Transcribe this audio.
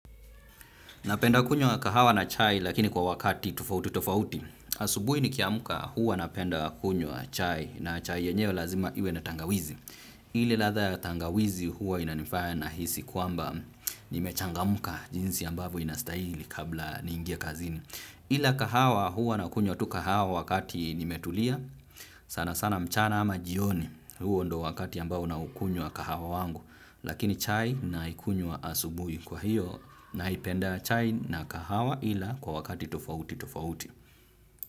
Napenda kunywa kahawa na chai lakini kwa wakati tofauti tofauti. Asubui nikiamka huwa napenda kunywa chai na chai yenyewe lazima iwe na tangawizi. Ile ladha ya tangawizi huwa inanifanya nahisi kwamba nimechangamuka jinsi ambavyo inastahili kabla ni ingia kazini. Ila kahawa huwa na kunywa tu kahawa wakati nimetulia sana sana mchana ama jioni huo ndio wakati ambao naukunywa kahawa wangu lakini chai naikunywa asubuhi. Kwa hiyo naipenda chai na kahawa ila kwa wakati tofauti tofauti.